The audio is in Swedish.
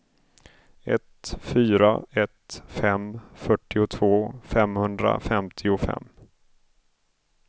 ett fyra ett fem fyrtiotvå femhundrafemtiofem